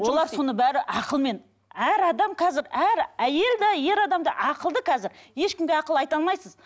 олар соны бәрі ақылмен әр адам қазір әр әйел де ер адам да ақылды қазір ешкімге ақыл айта алмайсыз